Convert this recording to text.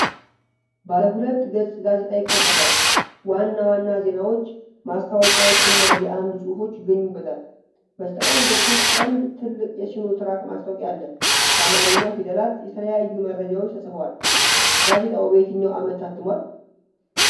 ባለ ሁለት ገጽ ጋዜጣ ይከፈታል፤ ዋና ዋና ዜናዎች፣ ማስታወቂያዎችና የአምድ ጽሑፎች ይገኙበታል። በስተቀኝ በኩል አንድ ትልቅ የሲኖ ትራክ ማስታወቂያ አለ። በአማርኛ ፊደላት የተለያዩ መረጃዎች ተጽፈዋል። ጋዜጣው በየትኛው ዓመት ታትሟል?